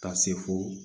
Ka se fo